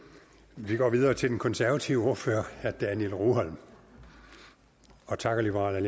vi går videre til den konservative ordfører herre daniel rugholm og takker liberal